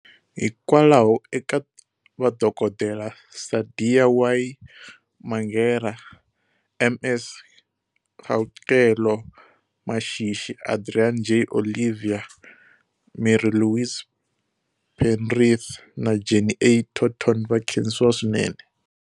Hikwalaho Eka Vadokodela, Saadiya Y Mangera, M S Kgauqelo Mashishi, Adriaan J Olivier, Mary-Louise Penrith na Jenny A Turton va khensiwa swinene.